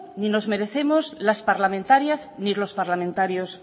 ni nos merecemos las parlamentarias ni los parlamentarios